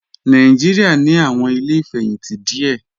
Nàìjíríà ní àwọn ilé ìfẹ̀yìntì díẹ̀